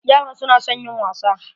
Yaran su na son yin wasa.